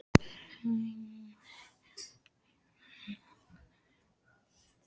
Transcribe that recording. Bergrín, hvaða sýningar eru í leikhúsinu á laugardaginn?